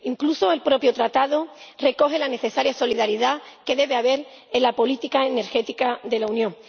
incluso el propio Tratado recoge la necesaria solidaridad que debe haber en la política energética de la Unión.